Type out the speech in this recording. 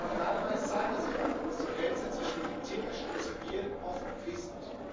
Gerade bei Cybersicherheit ist die Grenze zwischen militärisch und zivil oft fließend.